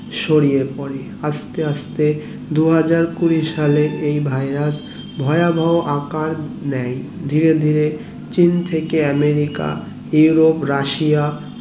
ছড়িয়ে পরে আস্তে আস্তে দু হাজার কুড়ি সালে এই virus ভয়াবহ আকার নেয় ধীরে ধীরে চীন থেকে আমেরিকা ইউরোপ রাশিয়া